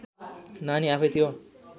नानी आफैँ त्यो